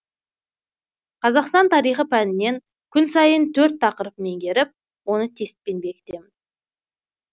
қазақстан тарихы пәнінен күн сайын төрт тақырып меңгеріп оны тестпен бекітемін